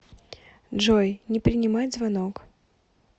джой не принимать звонок